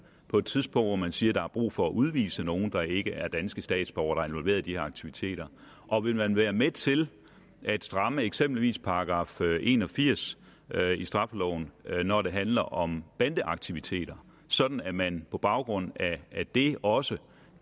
på et tidspunkt hvor man siger at der er brug for at udvise nogle der ikke er danske statsborgere og involveret i de her aktiviteter og vil man være med til at stramme eksempelvis § en og firs i straffeloven når det handler om bandeaktiviteter sådan at man på baggrund af det også